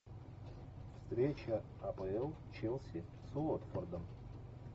встреча апл челси с уотфордом